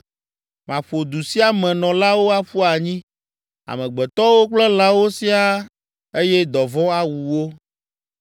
Maƒo du sia me nɔlawo aƒu anyi, amegbetɔwo kple lãwo siaa eye dɔvɔ̃ awu wo.